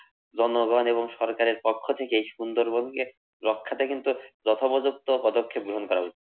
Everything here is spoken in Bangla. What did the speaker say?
জনগণ এবং সরকারের পক্ষ থেকে সুন্দরবনকে রক্ষাতে কিন্তু যথাপযুক্ত পদক্ষেপ গ্রহন করা উচিত।